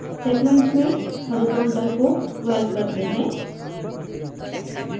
segments में horizontal को 12 करते हैं